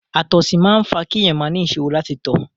Àtọ̀sí máa ń fa kí èèyàn máa ni ìṣòro láti tọ̀.